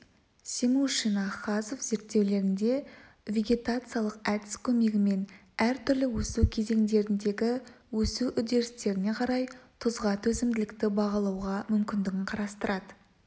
семушина хазов зерттеулерінде вегетациялық әдіс көмегімен әртүрлі өсу кезеңдеріндегі өсу үдерістеріне қарай тұзға төзімділікті бағалауға мүмкіндігін қарастырады